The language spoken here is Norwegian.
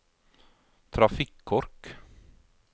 trafikkork